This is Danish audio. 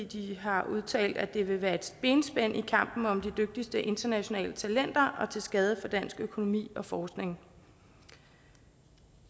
de har udtalt at det vil være et benspænd i kampen om de dygtigste internationale talenter og til skade for dansk økonomi og forskning